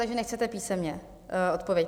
Takže nechcete písemně odpověď?